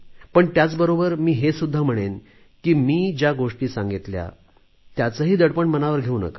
पण त्याचबरोबर मी हे सुद्धा म्हणेन की मी ज्या गोष्टी सांगितल्या त्यांचं दडपण मनावर घेऊ नका